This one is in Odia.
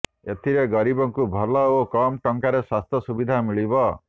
ଏଥିରେ ଗରିବଙ୍କୁ ଭଲ ଓ କମ୍ ଟଙ୍କାରେ ସ୍ୱାସ୍ଥ୍ୟ ସୁବିଧା ମିଳିବ